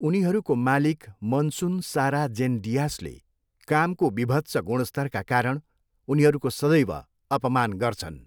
उनीहरूको मालिक मनसुन, सारा जेन डियासले कामको विभत्स गुणस्तरका कारण उनीहरूको सदैव अपमान गर्छन्।